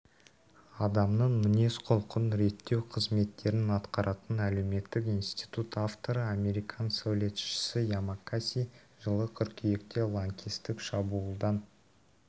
адамның мінез-құлқын реттеу қызметтерін атқаратын әлеуметтік институт авторы американ сәулетшісі ямасаки жылы қыркүйекте ланкестік шабуылдан